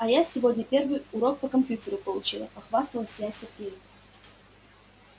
а я сегодня первый урок по компьютеру получила похвасталась я сергею